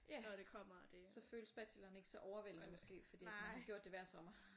Ja så føles bacheloren ikke så overvældende måske fordi at man har gjort det hver sommer